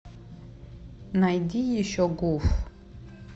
найди еще гуф